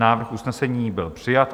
Návrh usnesení byl přijat.